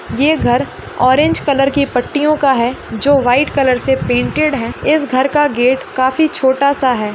ये घर orange colour की पट्टियों का है जो व्हाइट कलर से पेंटेड है इस घर का गेट काफी छोटा सा है।